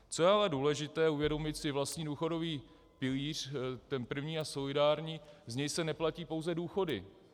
Co je ale důležité, uvědomit si, vlastní důchodový pilíř, ten první a solidární, z něj se neplatí pouze důchody.